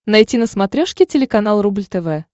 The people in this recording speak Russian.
найти на смотрешке телеканал рубль тв